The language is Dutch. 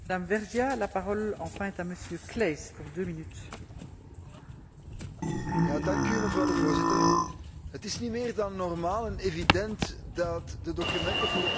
Voorzitter, het is niet meer dan normaal en evident dat de documenten voor openbare raadpleging beschikbaar zouden zijn in alle officiële talen van de Europese Unie.